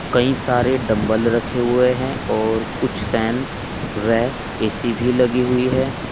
कई सारे डंबल रखे हुए हैं और कुछ फैन व ए_सी भी लगी हुई है।